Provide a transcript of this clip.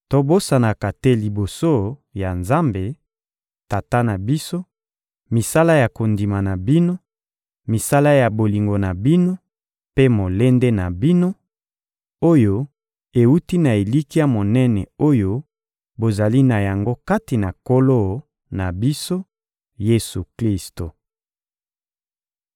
Tobosanaka te liboso ya Nzambe, Tata na biso, misala ya kondima na bino, misala ya bolingo na bino mpe molende na bino, oyo ewuti na elikya monene oyo bozali na yango kati na Nkolo na biso, Yesu-Klisto.